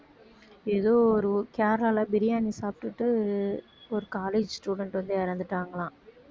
ஏதோ ஒரு ஊ~ கேரளால பிரியாணி சாப்பிட்டுட்டு ஒரு college student வந்து இறந்துட்டாங்களாம்